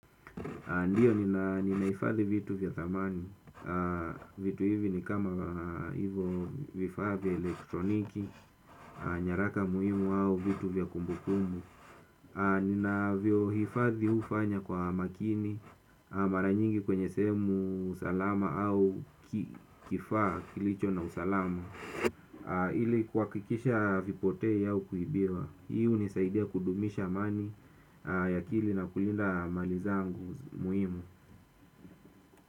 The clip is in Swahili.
Ndiyo ninahifadhi vitu vya thamani. Vitu hivi ni kama hivyo vifaa vya elektroniki. Nyaraka muhimu au vitu vya kumbukumbu. Ninavyohifadhi hufanya kwa makini. Mara nyingi kwenye sehemu salama au kifaa kilicho na usalama ili kuhakikisha havipotee au kuibiwa. Hii unisaidia kudumisha amani ya akili na kulinda mali zangu muhimu.